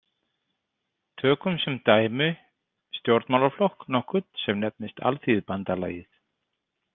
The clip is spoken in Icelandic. Tökum sem dæmi stjórnmálaflokk nokkurn sem nefnist Alþýðubandalagið.